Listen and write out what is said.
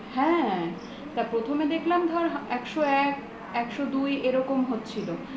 হ্যা তা প্রথম এ দেখলাম ধর একশো এক একশো দুই এরকম হচ্ছিলো